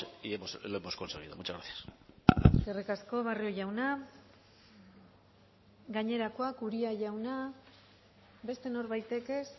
y lo hemos conseguido muchas gracias eskerrik asko barrio jauna gainerakoak uria jauna beste norbaitek ez